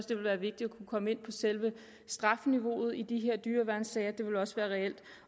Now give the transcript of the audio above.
det vil være vigtigt at komme ind på selve strafniveauet i de her dyreværnssager